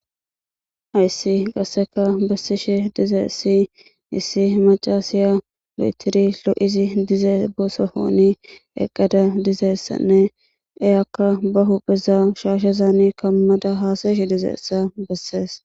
Hayssi qasseka bessishe dizeessi issi macasiya lo7etiri lo7izi dizee bosohooni eqqada dizeessanne eyakka bahu pheza shaashezaani kammada haasayeshe dizeessa bessees.